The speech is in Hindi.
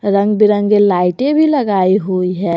रंग बिरंगे लाइटे भी लगाई हुई है।